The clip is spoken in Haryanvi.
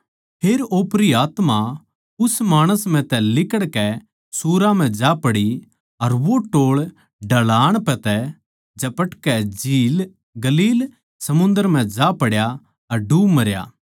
फेर ओपरी आत्मा उस माणस म्ह तै लिकड़कै सुअरां म्ह जा पड़ी अर वो टोळ ढळान पै तै झपटकै गलील समुन्दर म्ह जा पड्या अर डूब मरया